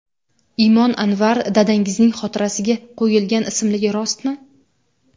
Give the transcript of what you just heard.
Imon Anvar dadangizning xotirasiga qo‘yilgan ismligi rostmi?